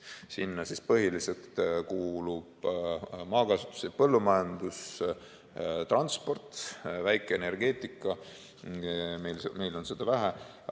Sinna põhiliselt kuulub maakasutus ja põllumajandus, transport, väikeenergeetika, meil on seda vähe.